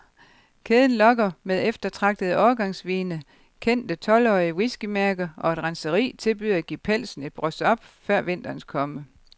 Kæden lokker med eftertragtede årgangsvine, kendte tolvårige whiskymærker, og et renseri tilbyder at give pelsen et brush up før vinterens komme.